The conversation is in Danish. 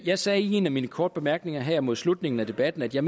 jeg sagde i en af mine korte bemærkninger her mod slutningen af debatten at jeg